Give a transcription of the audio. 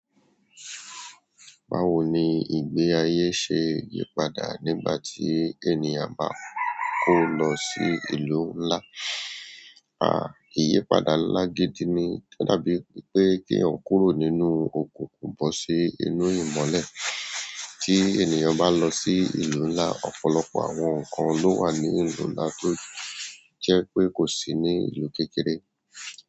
Báwo ni ìgbé ayé ṣe yípadà nígbà tí ènìyàn bá kó lọ sí ìlú ńlá? À, ìyípadà ńlá gidi ni, o dábi pé ki eeyan kúrò nínú òkùnkùn bọ́ sí inú ìmọ́lẹ̀. Tí ènìyàn bá lọ sí ìlú ńlá, ọ̀pọ̀lọpọ̀ àwọn nǹkan ló wà ní ìlú ńlá tó jẹ́ pé kò sí ní ìlú kékeré.